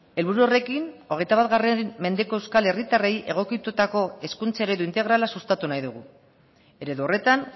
helburu horrekin hogeita bat mendeko euskal herritarrei egokitutako hezkuntza eredu integrala sustatu nahi dugu eredu horretan